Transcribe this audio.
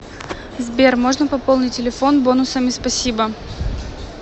сбер можно пополнить телефон бонусами спасибо